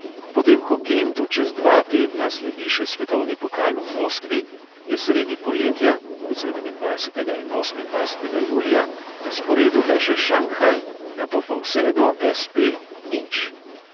Potem ko gentu čez dva tedna sledi še svetovni pokal v moskvi, je sredi poletja (sedemindvajsetega in osemindvajsetega julija) na sporedu le še šanghaj, nato pa vse do es|pe nič.